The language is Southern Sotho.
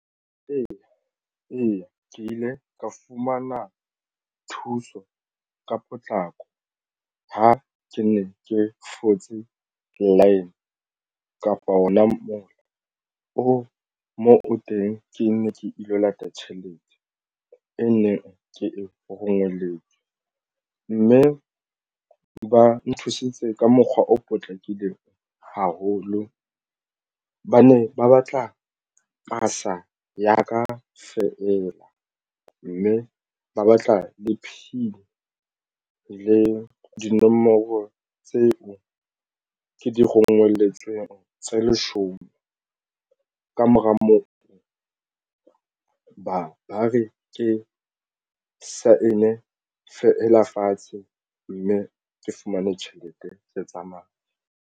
Eya, ke ile ka fumana thuso ka potlako. Ha ke ne ke fotse line kapa ona mola o mo teng ke nne ke ilo lata tjhelete e neng ke e ho rongweletswe mme ba nthusitse ka mokgwa o potlakileng haholo. Ba ne ba batla pasa ya ka feela mme ba batla le P_I_N le dinomoro tseo ke di rongweletsweng tse leshome ka mora moo ba re ke sign-e feela fatshe mme ke fumane tjhelete ke tsamaya.